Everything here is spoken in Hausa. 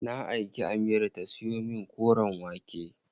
Na aiki Amira ta siyo min koren wake.